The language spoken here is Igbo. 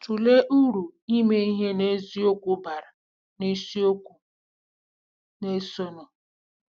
Tụlee uru ime ihe n'eziokwu bara n'isiokwu na-esonụ.